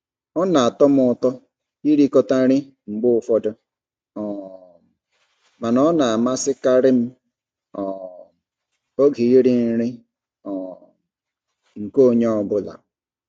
Ọ na-atọ m ụtọ ịrikọta nri mgbe ụfọdụ um mana ọ na-amasịkarị m um oge iri nri um nke onye ọ bụla.